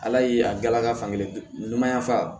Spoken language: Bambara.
Ala ye a galaga fan kelen ɲuman fa